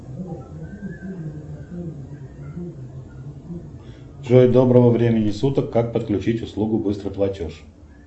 джой доброго времени суток как подключить услугу быстрый платеж